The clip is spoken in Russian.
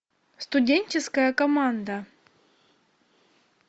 студенческая команда